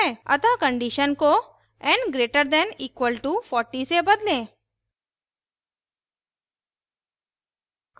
अतः condition को n> = 40 से बदलें